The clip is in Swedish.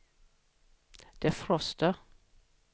defroster